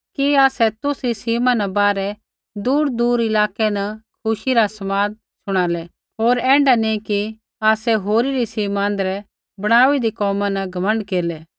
कि आसै तुसरी सीमा न बाहरै दूरदूर इलाकै न खुशी रा समाद शुणालै होर ऐण्ढा नी कि आसै होरी री सीमा आँध्रै बणाई हुन्दे कोमा न घमण्ड केरलै